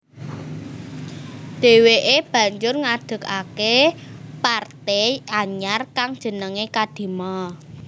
Dheweke banjur ngedegake parte anyar kang jenengé Kadima